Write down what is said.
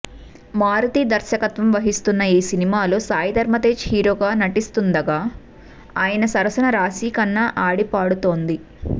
మారుతి దర్శకత్వం వహిస్తున్న ఈ సినిమాలో సాయి ధరమ్ తేజ్ హీరోగా నటిస్తుండగా ఆయన సరసన రాశి ఖన్నా ఆడిపాడుతోంది